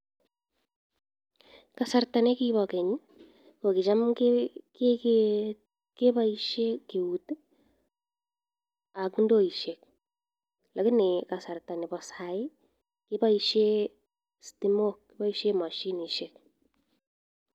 Kasarta ne kipa keny ko kicham kekee kepaishe keut ak ndoishek lakini kasarta nepo sahi kepaishe stimok, kipaishe mashinishek.